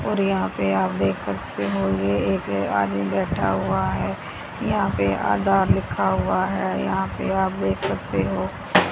और यहां पर आप देख सकते हो ये एक आदमी बैठा हुआ है यहां पर आधार लिखा हुआ है यहां पर आप देख सकते हो।